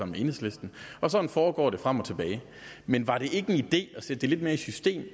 med enhedslisten sådan foregår det frem og tilbage men var det ikke en idé at sætte det lidt mere i system